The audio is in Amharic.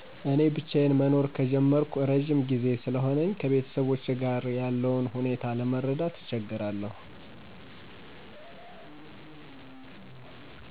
እኔ ብቻዩን መኖር ከጀመርኩ እረዥም ጊዜ ስለሆነኝ ቤተሰቦቼ ጋር ያለውን ሁኔታ ለመረዳት እቸገራለሁ።